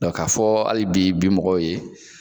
ka fɔ hali bi bi mɔgɔw ye